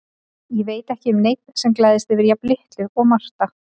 Ég veit ekki um neinn sem gleðst yfir jafn litlu og Marta.